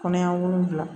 Kɔnɔɲɛ wolonwula